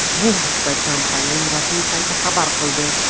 Bu haqda kompaniyaning rasmiy sayti xabar qildi .